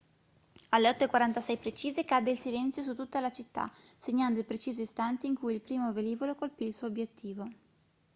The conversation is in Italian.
alle 8:46 precise cadde il silenzio su tutta la città segnando il preciso istante in cui il primo velivolo colpì il suo obiettivo